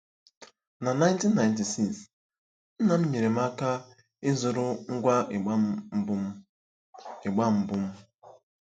Na 1996, nna m nyeere m aka ịzụrụ ngwa ịgbà mbụ m. ịgbà mbụ m.